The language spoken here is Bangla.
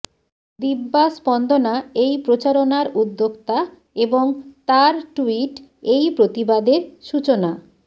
দিব্যা স্পন্দনা এই প্রচারণার উদ্যোক্তা এবং তার টুইট এই প্রতিবাদের সূচনা